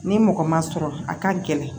Ni mɔgɔ ma sɔrɔ a ka gɛlɛn